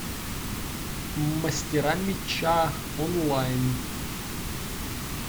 мастера меча онлайн